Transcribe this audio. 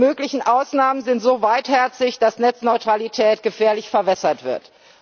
Die möglichen Ausnahmen sind so weitherzig, dass Netzneutralität gefährlich verwässert wird.